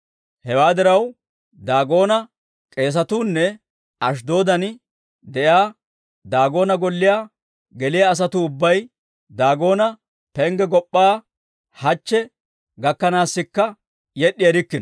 Hewaa diraw, Daagoona k'eesatuu nne Ashddoodan de'iyaa Daagoona golliyaa geliyaa asatuu ubbay Daagoona pengge gop'p'aa hachche gakkanaasikka yed'd'i erikkino.